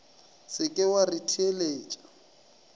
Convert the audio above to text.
se ke wa re theletša